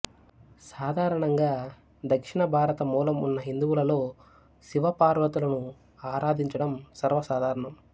సాధారణంగా దక్షిణ భారత మూలం ఉన్న హిందువులలో శివ పార్వతులను ఆరాధించడం సర్వసాధారణం